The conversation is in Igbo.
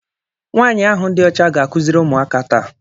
Nwaanyị ahụ dị ọcha ga-akụziri ụmụaka taa